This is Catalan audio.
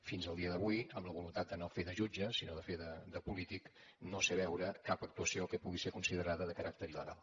fins al dia d’avui amb la voluntat de no fer de jutge sinó de fer de polític no sé veure cap actuació que pugui ser considerada de caràcter il·legal